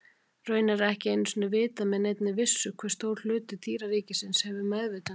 Raunar er ekki einu sinni vitað með neinni vissu hve stór hluti dýraríkisins hefur meðvitund.